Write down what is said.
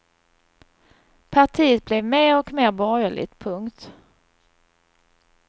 Partiet blev mer och mer borgerligt. punkt